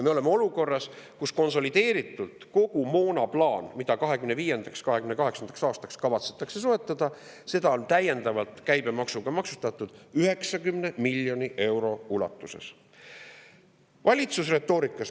Me oleme olukorras, kus konsolideeritult kogu see moon, mida 2025.–2028. aastaks kavatsetakse soetada, on täiendavalt käibemaksuga maksustatud 90 miljoni euro ulatuses.